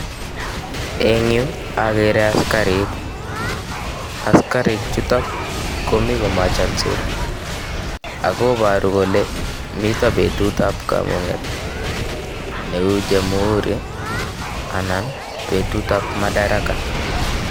Engyu agree askarik, askarik chutok komi komachansot akoporu kole mito betut ap kamunget neu jamuhuri ana betut ap madaraka